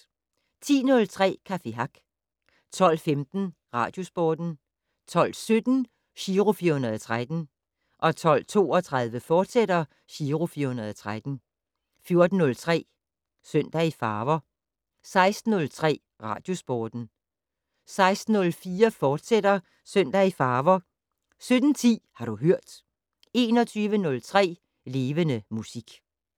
10:03: Café Hack 12:15: Radiosporten 12:17: Giro 413 12:32: Giro 413, fortsat 14:03: Søndag i farver 16:03: Radiosporten 16:04: Søndag i farver, fortsat 17:10: Har du hørt 21:03: Levende Musik